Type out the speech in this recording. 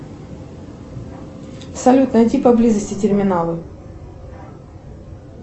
салют найди поблизости терминалы